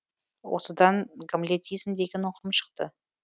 осыдан гамлетизм деген ұғым шықты